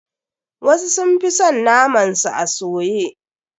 Wasu sun fi son naman su a soye.